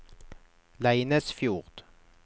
Leinesfjord